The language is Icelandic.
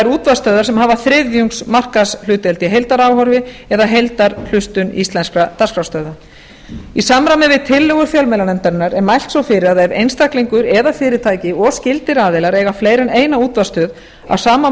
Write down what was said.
útvarpsstöðvar sem hafa þriðjungs markaðshlutdeild í heildaráhorfi eða heildarhlustun íslenskra dagskrárstöðva í samræmi við tillögur fjölmiðlanefndarinnar er mælt svo fyrir að ef einstaklingur eða fyrirtæki og skyldir aðila eiga fleiri en eina útvarpsstöð á sama